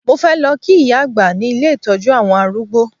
Mo fẹ́ lọ kí ìyá àgbà ní ilé ìtọ́jú àwọn arúgb́o